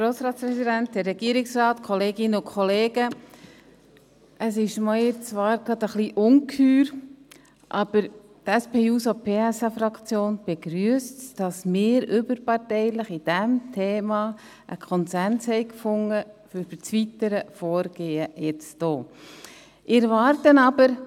Es ist mir zwar gerade etwas unheimlich, aber die SPJUSO-PSA-Fraktion begrüsst es, dass wir bei diesem Thema einen überparteilichen Konsens zum weiteren Vorgehen gefunden haben.